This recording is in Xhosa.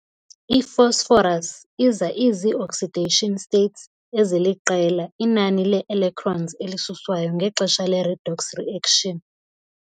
I-phosphorus iza izii-oxidation states, eziliqela, inani lee-electrons elisuswayo ngexesha le-redox reaction.